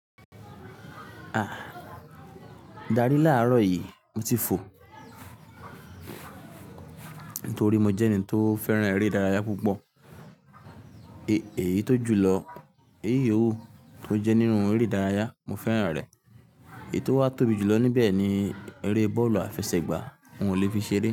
A! Darí láàrọ̀ yìí mo ti fò. Nítorí mo jẹ́ ẹni tó fẹ́ràn eré ìdárayá púpọ̀. E, èyí tó jùlọ, éyí òwò tó jẹ́ nínú eré ìdárayá mo fẹ́ràn rẹ̀. Èyí tó wá tóbi jùlọ níbẹ̀ ni eré bọ́ọ̀lù àfẹsẹ̀gbá. Ǹ ó le fi ṣeré.